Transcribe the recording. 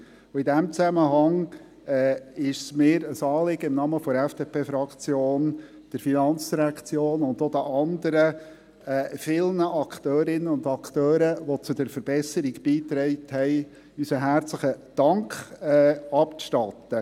In diesem Zusammenhang ist es mir ein Anliegen, der FIN und auch den anderen vielen Akteurinnen und Akteuren, die zur Verbesserung beigetragen haben, im Namen der FDPFraktion unseren herzlichen Dank abzustatten.